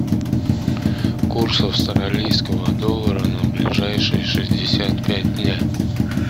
курс австралийского доллара на ближайшие шестьдесят пять дня